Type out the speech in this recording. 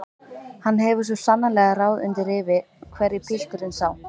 Hann hefur svo sannarlega ráð undir rifi hverju pilturinn sá!